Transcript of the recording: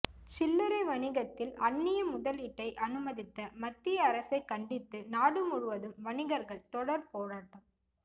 சில்லரை வணிகத்தில் அன்னிய முதலீட்டை அனுமதித்த மத்திய அரசை கண்டித்து நாடு முழுவதும் வணிகர்கள் தொடர் போராட்டம்